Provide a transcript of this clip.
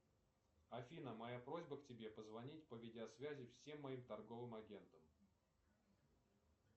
афина моя просьба к тебе позвонить по видеосвязи всем моим торговым агентам